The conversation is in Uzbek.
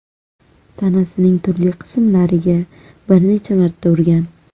tanasining turli qismlariga bir necha marta urgan.